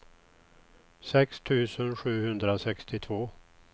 sex tusen sjuhundrasextiotvå